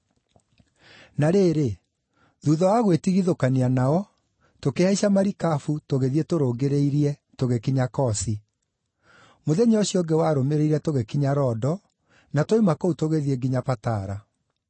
Na rĩrĩ, thuutha wa gwĩtigithũkania nao, tũkĩhaica marikabu tũgĩthiĩ tũrũngĩrĩirie tũgĩkinya Kosi. Mũthenya ũcio ũngĩ warũmĩrĩire tũgĩkinya Rodo, na twoima kũu tũgĩthiĩ nginya Patara.